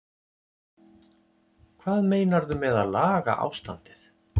Hvað meinarðu með að laga ástandið?